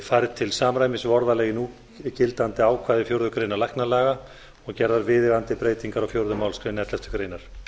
færð til samræmis við orðalag í núgildandi ákvæði fjórðu grein læknalaga og gerðar viðeigandi breytingar á fjórðu málsgrein elleftu greinar